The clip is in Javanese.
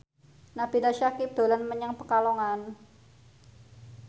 Nabila Syakieb dolan menyang Pekalongan